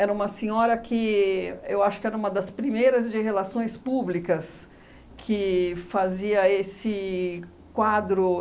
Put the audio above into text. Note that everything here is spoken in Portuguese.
Era uma senhora que eu acho que era uma das primeiras de relações públicas que fazia esse quadro.